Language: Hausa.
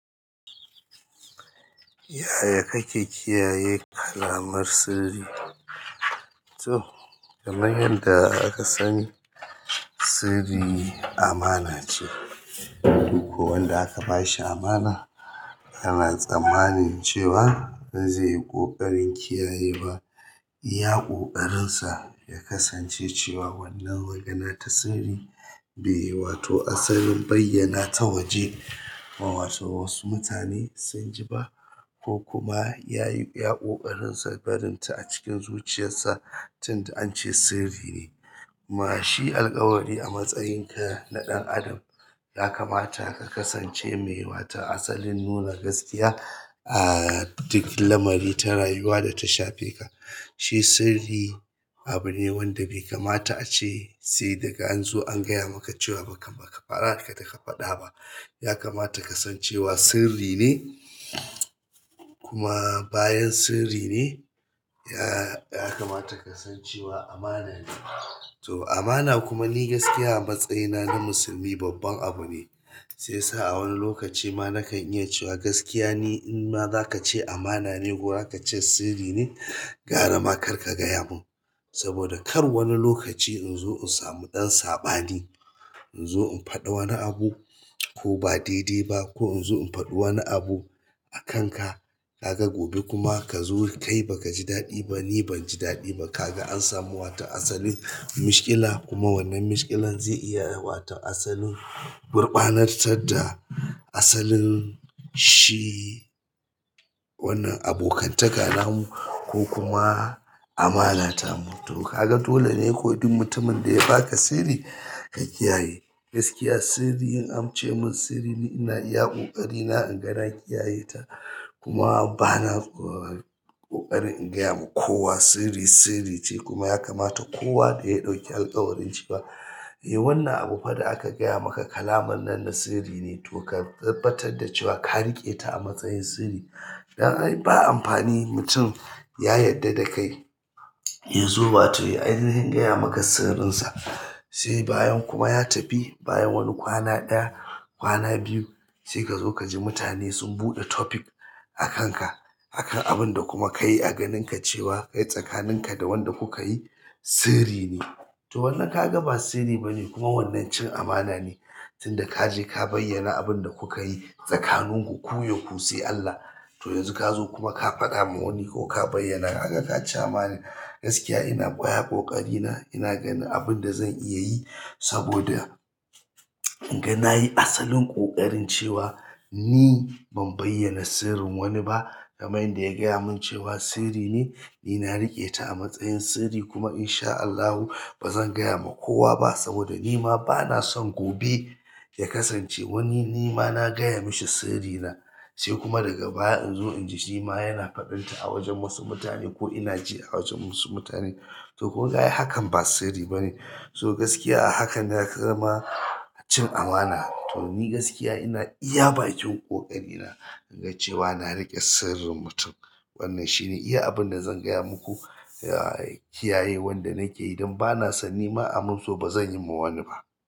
Yaya kake kiyaye kalaman sirri? To kamar yanda akasani sirri amana ce duk wanda aka ba shi amana ana tsammanin cewa ba zai yi ƙoƙarin kiyayewa ba. Ya ƙoƙarin sa ya kasance cewa wannan magana ta sirri ba yi, wato asalin bayyana ta waje ma wato wasu mutane sun ji ba ko kuma yayi yaƙoƙarin sa barinta a cikin zuciyarsa tunda an ce sirri ne. Mashi alkawari a matsayinka na ɗan adam ya kamata ka kasance mai mata asalin nuna gaskiya a duk lamari ta rayuwa data shafe ka. Shi sirri abu ne wanda bai kamata ace sai daga an zo an gaya maka cewa baka fara ka da ka faɗa ba. Ya kamata ka san cewa sirri ne kuma bayan sirri ne ya kamata ka san cewa amana ne. To amana kuma ni gaskiya a matsayina na musulmi babban abu ne. Sai sa a wani lokaci ma na kan iya cewa gaskiya ne in ma za ka ce amana ne ko za ka ce sirri ne gara ma kar ka gaya mun. Saboda kar wani lokaci in zo in samu ɗan saɓani. In zo in faɗa wani abu ko ba daidai ba ko in zo in faɗi wani abu a kanka. Kaga gobe kuma kazo kai baka ji daɗi ba, ni ban ji daɗi ba. Kaga an samu wata asalin mashkila kuma wannan mashkilan zai iya wata asalin gurɓanar tar da asalin shi wannan abokantaka namu ko kuma amana ta mu. To kaga dole ne ko duk mutumin da ya baka sirri ka kiyaye. Gaskiya sirri in an ce mun sirri ni ina iya ƙoƙarina in ga na kiyaye ta kuma bana ƙoƙari in gayawa kowa sirri sirri ce kuma ya kamata kowa da ya ɗauki alkawarin shi ba. Eh wannan abubuwa da aka gaya maka kalaman nan na sirri ne to ka tabbatar da cewa ka riƙe ta a matsayin sirri. Ba amfani mutum ya yadda da kai yazo wato ainahin gaya maka sirrin sa sai bayan kuma ya tafi bayan wani kwana ɗaya, kwana biyu sai ka zo ka ji mutane sun buɗe topic a kanka. Akan abun da kuma ka yi a ganin ka cewa kai tsakanin ka da wanda kuka yi sirri ne. To wannan kaga ba sirri ba ne kuma wannan cin amana ne tunda ka je ka bayyana abin da kuka yi tsakanin ku ku yaku sai Allah. To yanzu kazo kuma ka faɗa ma wani ko ka bayyana haka ka ci amana. Gaskiya ina ƙwaya ƙoƙari na ina ganin abinda zan iya yi saboda in ga na yi asalin ƙoƙarin cewa ni ban bayyana sirrin wani ba. Kamar yanda yagaya mun cewa sirri ne nina riƙeta amatsayin sirri kum inshaallahu bazan faɗama kowa ba saboda nima banaso gobe yakasance wani nima nagaya mishi sirrina sai kuma daga baya in zo in ji shima yana faɗin ta a wajen wasu mutane ko ina ji a wajen wasu mutane. To ko kayi hakan ba sirri ba ne. To gaskiya a hakan ya kama cin amana. To ni gaskiya ina iya bakin ƙoƙari na inga cewa na riƙe sirrin mutum. Wannan shine iya abunda zan gaya muku da kiyayen wanda nake dan banaso nima amun so bazan yima wani ba.